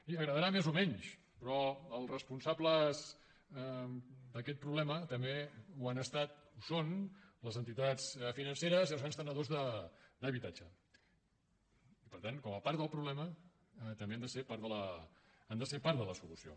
i agradarà més o menys però els responsables d’a quest problema també han estat o ho són les entitats financeres i els grans tenidors d’habitatge i per tant com a part del problema també han de ser part de la solució